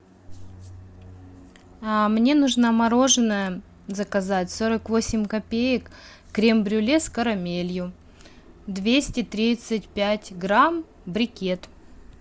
мне нужно мороженое заказать сорок восемь копеек крем брюле с карамелью двести тридцать пять грамм брикет